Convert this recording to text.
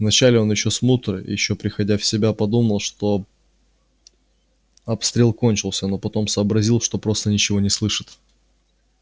в начале он ещё смутно ещё приходя в себя подумал что обстрел кончился но потом сообразил что просто ничего не слышит